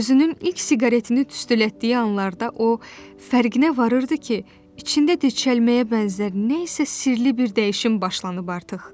Və özünün ilk siqaretini tüstülətdiyi anlarda o, fərqinə varırdı ki, içində deşəlməyə bənzər nəsə sirli bir dəyişim başlanıb artıq.